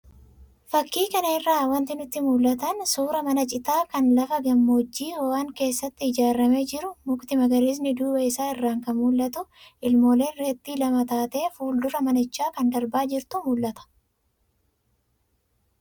Fakkii kanarraa wantoonni nutti mul'atan suuraa mana citaa kan lafa gammoojjii ho'aan keessatti ijaaramee jiruu, mukti magariisni duuba isaa irraan kan mul'atu, ilmooleen reettii lama taatee fuul-dura manichaa kan darbaa jirtutu mul'ata.